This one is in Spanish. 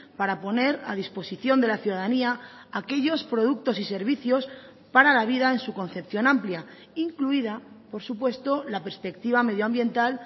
para poner a disposición de la ciudadanía aquellos productos y servicios para la vida en su concepción amplia incluida por supuesto la perspectiva medioambiental